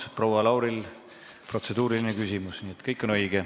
Aitäh!